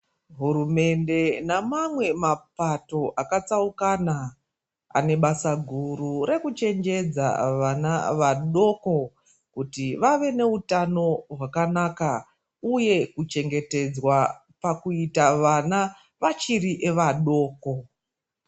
Hurumende namamwe mapato akatsaukana, ane basa guru rekuchenjedza vana vadoko kuti vave neutano hwakanaka uye kuchengetedzwa pakuita vana vachiri vadoko.